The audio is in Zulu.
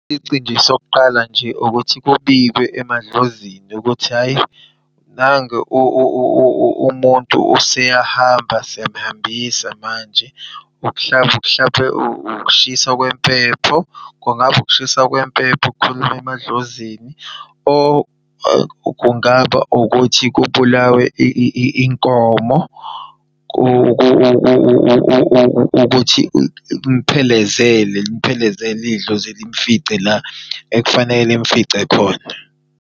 Isici nje sokuqala nje ukuthi kubikwe emadlozini ukuthi hhayi nangu umuntu useyahamba, siyamhambisa manje. Mhlampe ukushiswa kwempepho, kungaba ukushiswa kwempepho, ukukhuluma emadlozini. Kungaba ukuthi kubulawe inkomo ukuthi imuphelezele imphelezele idlozi limfice la ekufanele limfice khona.